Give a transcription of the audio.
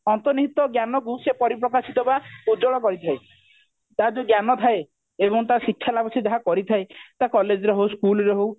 ଏବଂ ତାର ଅନ୍ତର୍ନିହିତ ଜ୍ଞାନ କୁ ସେ ପରିପ୍ରକାଶିତ ବା ଉଜ୍ଜଳ କରିଥାଏ ତାର ଯୋଉ ଜ୍ଞାନ ଥାଏ ଏବଂ ତାର ଶିକ୍ଷା ଲାଭ ସେ ଯାହା କରିଥାଏ ତା college ରେ ହଉ school ରେ ହଉ